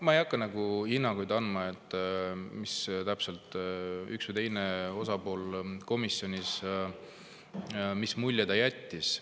Ma ei hakka hinnanguid andma, mis mulje täpselt üks või teine osapool komisjonis jättis.